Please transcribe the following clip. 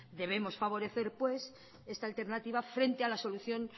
debemos favorecer pues esta alternativa frente a la solución